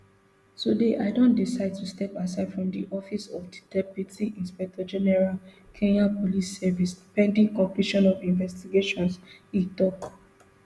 today i don decide to step aside from di office of di deputy inspector general kenya police service pending completion of investigations e tok